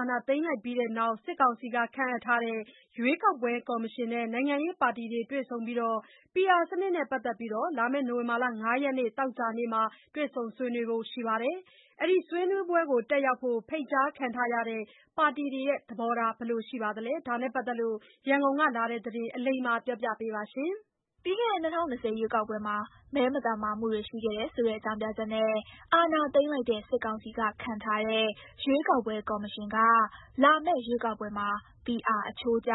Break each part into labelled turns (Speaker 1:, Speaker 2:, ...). Speaker 1: ာဏာသိမ်းပြီးနောက် စစ်ကောင်စီကခန့်ထားတဲ့ ရွေးကောက်ပွဲကော်မရှင်နဲ့ နိုင်ငံရေးပါတီတွေ PR စနစ်နဲ့ပတ်သက်ပြီး နိုဝင်ဘာ ၅ ရက် လာမယ့် သောကြာနေ့မှာ တွေ့ဆုံဆွေးနွေးဖို့ ရှိပါတယ်။ ဒီဆွေးနွေးပွဲတက်ရောက်ဖို့ ဖိတ်ကြားခံထားရတဲ့ ပါတီတွေရဲ့သဘောထားက ဘယ်လိုရှိနေပါသလဲ။ ရန်ကုန်ကလာတဲ့သတင်းကို အလိမ္မာက တင်ပြပေးထားပါတယ်။ ပြီးခဲ့တဲ့ ၂၀၂၀ ရွေးကောက်ပွဲမှာ မဲမသမာမှုတွေရှိခဲ့တယ်ဆိုတဲ့အကြောင်းပြချက်နဲ့ အာဏာ သိမ်းလိုက်တဲ့ စစ်ကောင်စီကခန့်ထားတဲ့ ရွေးကောက်ပွဲကော်မရှင်က လာမယ့်ရွေးကောက်ပွဲမှာ PR အချိုးကျ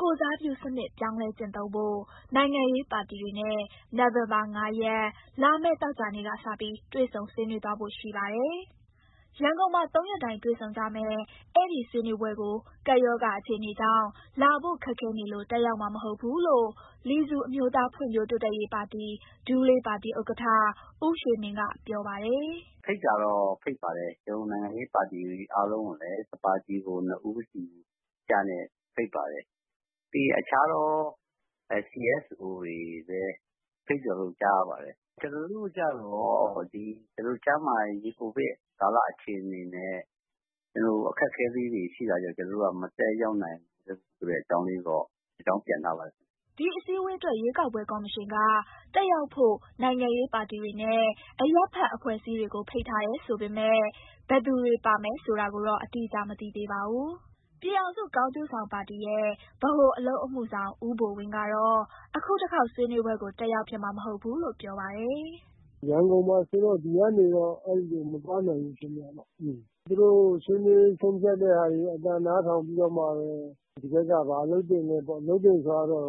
Speaker 1: ကိုယ်စားပြုစနစ် ပြောင်းလဲကျင့်သုံးဖို့ နိုင်ငံရေးပါတီတွေနဲ့ နိုဝင်ဘာလ ၅ ရက်၊ လာမယ့် သောကြာနေ့ကစပြီး တွေ့ဆုံဆွေးနွေးသွားဖို့ ရှိပါတယ်။ ရန်ကုန်မှာ ၃ ရက်တိုင် တွေ့ဆုံကြမယ့် အဲဒီဆွေးနွေးပွဲကို ကပ်ရောဂါအခြေအနေကြောင့် လာဖို့ ခက်ခဲနေလို့ တက်ရောက်မှာမဟုတ်ဘူးလို့ လီဆူအမျိုးသား ဖွံ့ဖြိုးတိုးတက်ရေးပါတီ (ဒူးလေးပါတီ) ဥက္ကဋ္ဌ ဦးရွှေမင်းက ပြောပါတယ်။
Speaker 2: "ဖိတ်တာတော့ ဖိတ်ပါတယ်။ ကျနော်တို့ နိုင်ငံရေးပါတီတွေ အားလုံးကိုလည်း တပါတီကို ၂ ဦးစီ ဖိတ်ပါတယ်။ ပြီးရင် အခြားသော CSO တွေကိုလည်း ဖိတ်တယ်လို့ ကြားရပါတယ်။ ကျနော်တို့ ကျတော့ ကျန်းမာရေး ကိုဗစ်ကာလအခြေအနေနဲ့ အခက်အခဲလေးတွေရှိတာကြောင့် ကျနော်တို့က မတက်ရောက်နိုင်ဘူးဆိုတဲ့အကြောင်းလေးတော့ အကြောင်းပြန်ထားပါတယ်
Speaker 1: ။" ဒီအစည်းအဝေးအတွက် ရွေးကောက်ပွဲကော်မရှင်က တက်ရောက်ဖို့ နိုင်ငံရေးပါတီတွေနဲ့ အရပ်ဘက် အဖွဲ့အစည်းတွေကို ဖိတ်ထားတယ်ဆိုပေမယ့် ဘယ်သူတွေပါမယ်ဆိုတာကိုတော့ အတိအကျမသိသေးပါဘူး။ ပြည်ထောင်စု ကောင်းကျိုးဆောင်ပါတီရဲ့ ဗဟိုအလုပ်အမှုဆောင် ဦးဘိုဝင်းကတော့ အခုတခေါက် ဆွေးနွေးပွဲကို တက်ရောက်ဖြစ်မှာ မဟုတ်ဘူးလို့ ပြောပါတယ်
Speaker 2: ။ "ရန်ကုန်မှာဆိုတာ့ ဒီကနေတော့ အဲဒီကို မသွားနိုင်ဘူး ဖြစ်နေတာပေါ့။ သူတို့ဆွေးနွေး ဆုံးဖြတ် တာတွေရဲ့ အသံနားထောင်ပြီးတော့မှပဲ ဒီဘက်က ဘာလုပ်သင့်လဲပေါ့။ လုပ်သင့်တယ်ဆိုတာကတော့ အဲ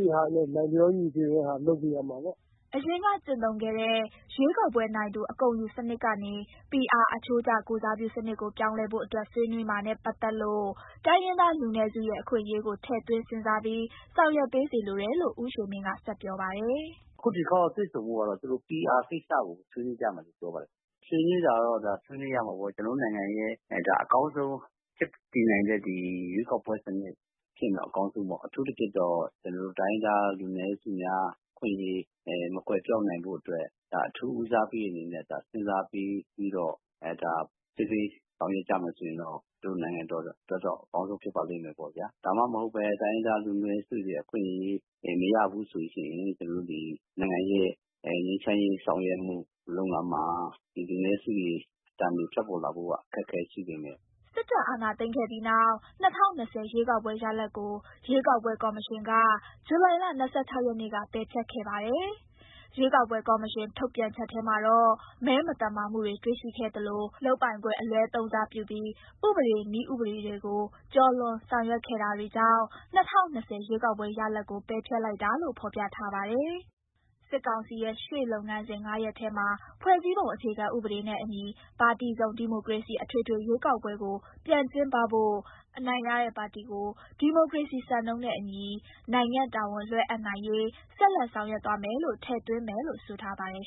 Speaker 2: ဒီဟာနဲ့ လိုက်လျောညီထွေတဲ့ဟာ လုပ်ပေးရမှာပေါ့။"
Speaker 1: အရင်က ကျင့်သုံးခဲ့တဲ့ ရွေးကောက်ပွဲနိုင်သူ အကုန်ယူစနစ်ကနေ PR အချိုးကျ ကိုယ်စားပြုစနစ်ကို ပြောင်းလဲဖို့အတွက် ဆွေးနွေးမှာနဲ့ ပတ်သက်လို့ တိုင်းရင်းသားလူနည်းစုရဲ့ အခွင့်အရေးကို ထည့်သွင်းစဉ်းစားပြီး ဆောင်ရွက်ပေးစေလိုတယ်လို့ ဦးရွှေမင်းက ဆက်ပြောပါတယ်။
Speaker 2: "အခု ဒီတခေါက်တွေ့ဆုံဖို့ကတော့ သူတို့ PR ကိစ္စကို ဆွေးနွေးကြမယ်လို့ ပြောပါတယ်။ ဆွေးနွေးတာကတော့ ဒါဆွေးနွေးရမှာပေါ့။ ကျနော်တို့နိုင်ငံရဲ့အကောင်းဆုံး ဖြစ်တည်နိုင်တဲ့ ရွေးကောက်ပွဲစနစ် ဖြစ်ရင်တော့ ဒါအကောင်းဆုံးပေါ့။ အထူးသဖြင့်ကတော့ ကျနော်တို့ တိုင်းရင်းသား လူနည်းစုများ အခွင့်အရေး မကွယ်ပျောက်နိုင်ဖို့အတွက် ဒါအထူးဦးစားပေးအနေနဲ့ စဉ်းစားပေးပြီးတော့ ဆွေးနွေးဆောင်ရွက်ကြမယ်ဆိုရင်တော့ ကျနော်တို့နိုင်ငံအတွက်တော့ အကောင်းဆုံးဖြစ်ပါလိမ့်မယ့်ပေါ့ဗျာ။ ဒါမှမဟုတ်ဘဲ တိုင်းရင်းသားလူနည်းစုတွေ အခွင့်အရေးတွေ မရဘူးဆိုရင် ကျနော်တို့ ဒီနိုင်ငံရဲ့ငြိမ်းချမ်းရေးဆောင်ရွက်မှု လုပ်ငန်းမှာ လူနည်းစုတွေ အသံတွေထွက်ပေါ်လာဖို့က အခက်အခဲရှိနေမယ်။"
Speaker 1: စစ်တပ်အာဏာသိမ်းခဲ့ပြီးနောက် ၂၀၂၀ ရွေးကောက်ပွဲရလဒ်ကို ရွေးကောက်ပွဲ ကော်မရှင်က ဇူလိုင်လ ၂၆ ရက်နေ့က ပယ်ဖျက်ခဲ့ပါတယ်။ ရွေးကောက်ပွဲ ကော်မရှင်ထုတ်ပြန်ချက်ထဲမှာတော့ မဲမသမာမှုတွေ တွေ့ရှိခဲ့သလို လုပ်ပိုင်ခွင့် အလွဲသုံးစားပြုပြီး ဥပဒေ၊ နည်းဥပဒေတွေကို ကျော်လွန်ဆောင်ရွက်ခဲ့တာတွေကြောင့် ၂၀၂၀ ရွေးကောက်ပွဲရလဒ်ကို ပယ်ဖျက်လိုက်တာလို့ ဖော်ပြထားပါတယ်။ စစ်ကောင်စီရဲ့ ရှေ့လုပ်ငန်းစဉ် ၅ ရပ်ထဲမှာ ဖွဲ့စည်းပုံအခြေခံ ဥပဒေနဲ့အညီ ပါတီစုံဒီမိုကရေစီ အထွေထွေရွေးကောက်ပွဲကို ပြန်ကျင်းပပြီး အနိုင်ရတဲ့ပါတီကို ဒီမိုကရေစီစံနှုန်းနဲ့အညီ နိုင်ငံ့တာဝန်လွှဲအပ်နိုင်ရေး ဆက်လက်ဆောင်ရွက်သွားမယ်လို့ ထည့်သွင်းမယ်လို့ဆိုထားပါတယ်